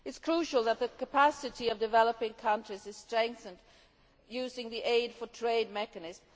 It is crucial that the capacity of developing countries is strengthened using the Aid for Trade' mechanism.